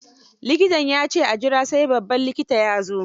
Likitan ya ce a jira sai babban likita ya so.